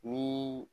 Ni